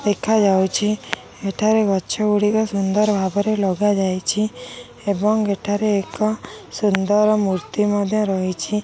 ଦେଖାଯାଉଛି ଏଠାରେ ଗଛ ଗୁଡ଼ିକ ସୁନ୍ଦର ଭାବରେ ଲଗାଯାଇଛି ଏବଂ ଏଠାରେ ଏକ ସୁନ୍ଦର ମୂର୍ତ୍ତି ମଧ୍ଯ ରହିଛି।